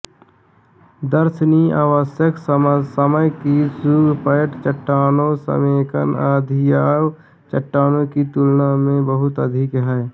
दर्शनीय आवश्यक समय की घुसपैठ चट्टानों समेकन धकियाव चट्टानों की तुलना में बहुत अधिक है